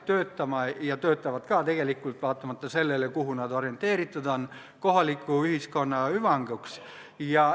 Tegelikult töötavad ka, vaatamata sellele, kuhu nad orienteeritud on.